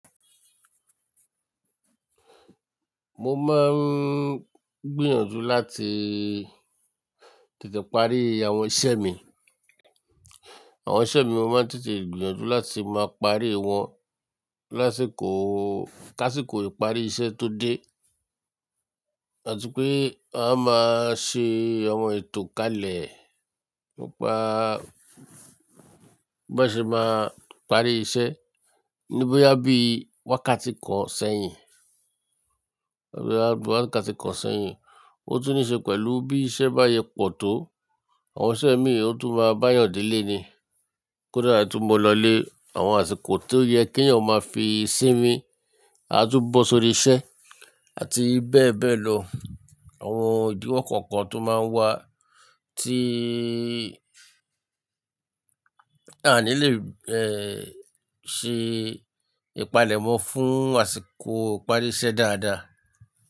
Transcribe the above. Mo máa ń gbìyànjú láti tètè parí àwọn iṣẹ́ mi. Àwọn iṣẹ́ mi mo máa ń tètè gbìyànjú láti máa parí wọn lásìkò, k'ásíkò ìparí iṣẹ́ tó dé. Àti pé a máa ṣe àwọn ètò kalẹ̀ nípa bí a ṣe máa parí iṣẹ́. Ní boyá bí wákàtí kan sẹ́yìn, boya wákàtí kan sẹ́yìn, ó tún ní ṣe pẹ̀lú bí iṣẹ́ bá sẹ pọ̀ tó, àwọn iṣẹ́ mi ó tún máa báa yàn delè ni. Kódà tí mo lọlé àwọn àsìkò tí ó yẹ k'eeyàn ó máa fi sí mi, a tún bọ́ sórí iṣẹ́ àti bẹ́ẹ̀ bẹ́ẹ̀ lọ. Àwọn ìdíwọ̀ kọ̀ọ̀kan tó máa ń wá tí a ní lè, eh, ṣe ìpalẹ̀mọ́ fún àsìkò ìparí iṣẹ́ dáadáa.